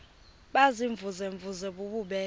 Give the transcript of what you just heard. baziimvuze mvuze bububele